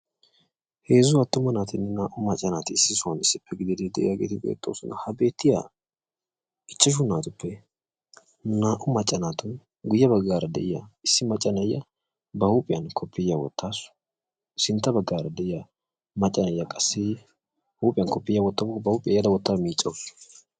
heezzu atuma naatinne naa'u macca nati issippe biidi beetoosona. ha beetiya naa'u macca naatuppe guye bagaara de'iya issi macca na'iya ba huuphiyan koppoyiya wotaasu.